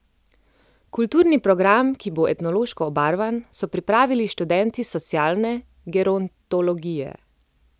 Kulturni program, ki bo etnološko obarvan, so pripravili študenti socialne gerontologije.